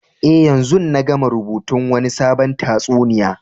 Eh, yanzun na gama rubutun Wani sabon tatsuniya.